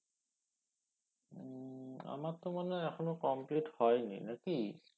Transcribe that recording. উম আমার তো মনে হয়ে এখনো complete হয় নি না কি